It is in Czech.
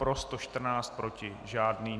Pro 114, proti žádný.